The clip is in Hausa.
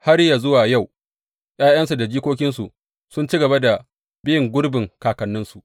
Har yă zuwa yau, ’ya’yansu da jikokinsu sun ci gaba da bin gurbin kakanninsu.